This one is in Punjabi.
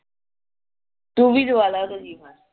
ਤੂੰ ਵੀ